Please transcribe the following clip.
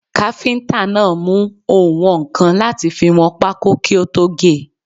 Káfíntà náà mú oùnwọ̀nkan láti fi wọn pákó kí ó tó ge.